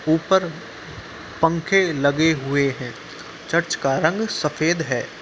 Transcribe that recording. ऊपर पंखे लगे हुए हैं। चर्च का रंग सफ़ेद है।